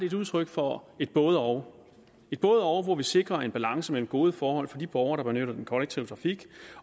et udtryk for et både og hvor vi sikrer en balance mellem gode forhold for de borgere der benytter den kollektive trafik